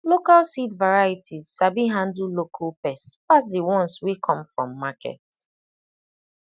local seed varieties sabi handle local pests pass the ones wey come from market